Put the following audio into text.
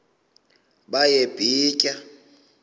baye bee tyaa